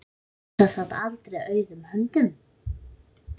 Elsa sat aldrei auðum höndum.